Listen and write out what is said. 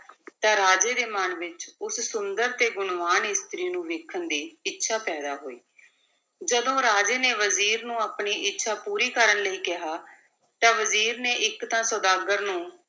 ਤਾਂ ਰਾਜੇ ਦੇ ਮਨ ਵਿੱਚ ਉਸ ਸੁੰਦਰ ਤੇ ਗੁਣਵਾਨ ਇਸਤਰੀ ਨੂੰ ਵੇਖਣ ਦੀ ਇੱਛਾ ਪੈਦਾ ਹੋਈ, ਜਦੋਂ ਰਾਜੇ ਨੇ ਵਜ਼ੀਰ ਨੂੰ ਆਪਣੀ ਇੱਛਾ ਪੂਰੀ ਕਰਨ ਲਈ ਕਿਹਾ, ਤਾਂ ਵਜ਼ੀਰ ਨੇ ਇੱਕ ਤਾਂ ਸੁਦਾਗਰ ਨੂੰ